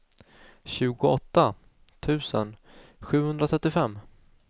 tjugoåtta tusen sjuhundratrettiofem